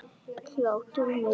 Hlátur og meiri hlátur.